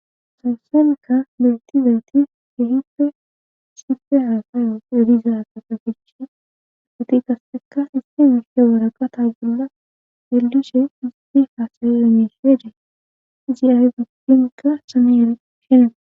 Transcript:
sawssemeka beyiti dayti gehipfe sife haasay yedizaa safafichi agati kasseka isti meshe woraka taagolla yelishe izdi faasayi emeshedee izi ahe pugdimikka saneyere shene